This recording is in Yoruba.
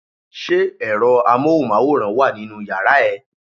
Ṣé ẹ̀rọ amóhùnmáwòrán wà nínú yàrá ẹ?